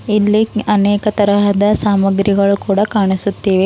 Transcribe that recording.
ಇಲ್ಲಿ ಅನೇಕ ತರಹದ ಸಾಮಾಗ್ರಿಗಳು ಕೂಡ ಕಾಣಿಸುತ್ತಿವೆ.